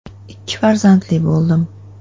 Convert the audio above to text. Ikki farzandli bo‘ldim.